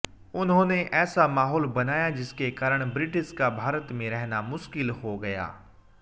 उन्होंने ऐसा माहौल बनाया जिसके कारण ब्रिटिश का भारत में रहने मुश्किल हो गया